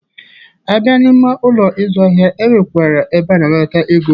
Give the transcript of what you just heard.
A bịa n'ime Ụlọ ịzụ ahịa, e nwekwara ebe a na-anata ego.